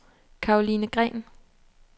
Caroline Green